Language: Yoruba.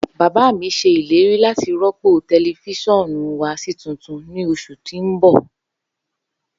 Baba mi ṣe ileri lati rọpo tẹlifisiọnu wa si tuntun ni oṣu ti n bọ.